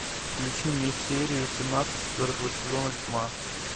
включи мне серию семнадцать четвертого сезона тьма